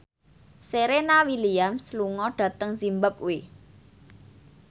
Serena Williams lunga dhateng zimbabwe